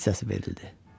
Fit səsi verildi.